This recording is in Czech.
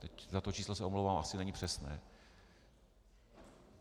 Teď za to číslo se omlouvám, asi není přesné.